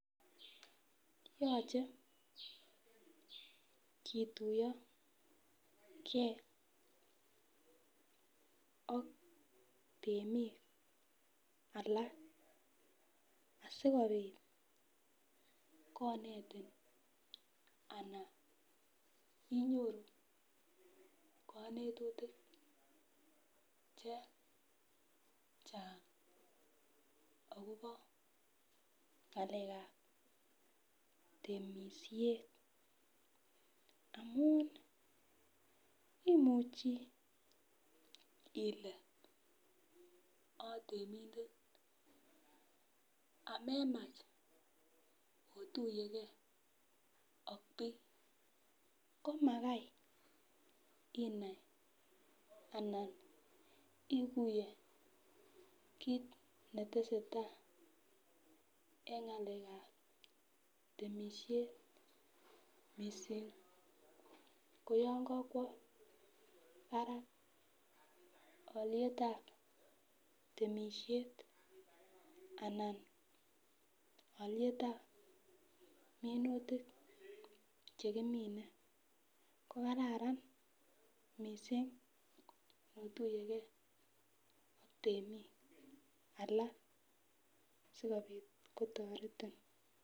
Yoche kituyogee ak temik alak asikopit kinetin ana inyoru konetutik chechang akobo ngalekab temishet amun imuchi ile itemindet amemach otunyengee ak bik komagai inai anan ikuye kit netesetai en ngalekab temishet missing ko yon kokwo barak olietab temishet Alan olietab minutik chekimiten ko kararan missing notuyegee ak temik alak sikopit kotoreti.